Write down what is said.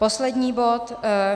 Poslední bod.